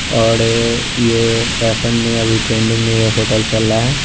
और ये फेशन में अभी ये ट्रेडिंग में ये होटल चलरा है।